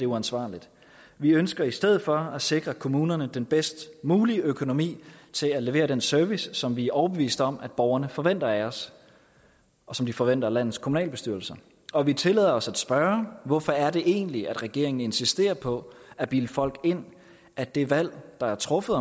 uansvarligt vi ønsker i stedet for at sikre kommunerne den bedst mulige økonomi til at levere den service som vi er overbeviste om borgerne forventer af os og som de forventer af landets kommunalbestyrelser og vi tillader os at spørge hvorfor er det egentlig at regeringen insisterer på at bilde folk ind at det valg der er truffet